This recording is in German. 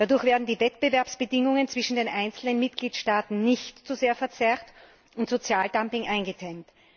Dadurch werden die Wettbewerbsbedingungen zwischen den einzelnen Mitgliedstaaten nicht zu sehr verzerrt und Sozialdumping wird eingedämmt.